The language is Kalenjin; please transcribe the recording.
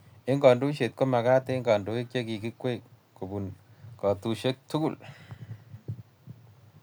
Eng' kandoiset ko magat eng' kandoik che kikwei kobunu kotushek tugul